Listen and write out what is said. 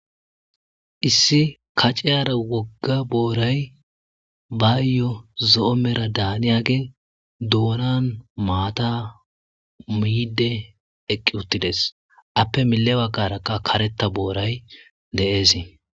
Issi kac'iyara woga boray bayo zo'o mera daniyage donan mata mide eqi utides ape mile bagarakka kareta boray de'es.